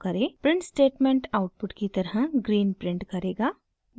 print statement output की तरफ green print करेगा